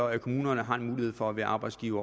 at kommunerne har mulighed for at være arbejdsgiver